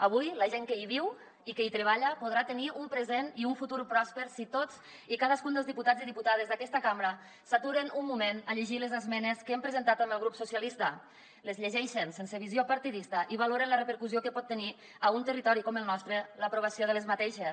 avui la gent que hi viu i que hi treballa podrà tenir un present i un futur pròsper si tots i cadascun dels diputats i diputades d’aquesta cambra s’aturen un moment a llegir les esmenes que hem presentat amb el grup socialistes les llegeixen sense visió partidista i valoren la repercussió que pot tenir a un territori com el nostre l’aprovació d’aquestes